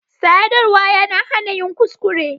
Sadarwa yana hana yin kuskure.